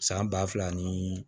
San ba fila ni